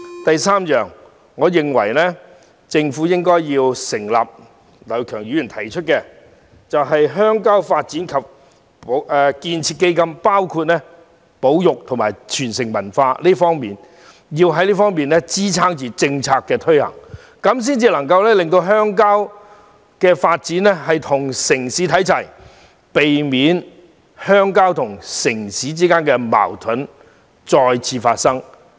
第三，我認為政府應成立劉業強議員提出的鄉郊發展及建設基金，涵蓋保育及文化傳承事宜，藉以支撐政策的推行，這樣才能確保鄉郊發展與城市看齊，避免鄉郊與城市之間的矛盾再次發生。